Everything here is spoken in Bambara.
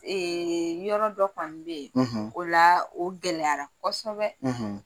yɔrɔ dɔ kɔni bɛ ye o la o gɛlɛyara kɔsɔbɛ.